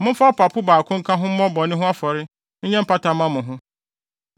Momfa ɔpapo baako nka ho mmɔ bɔne ho afɔre mfa nyɛ mpata mma mo.